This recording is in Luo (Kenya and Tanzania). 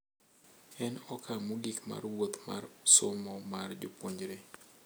En okang’ mogik mar wuoth mar somo mar japuonjre,